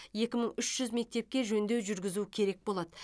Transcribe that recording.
екі мың үш жүз мектепке жөндеу жүргізу керек болады